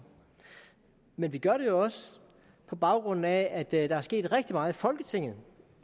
men vi gør det også på baggrund af at der er sket rigtig meget i folketinget